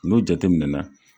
N'u jate minɛna.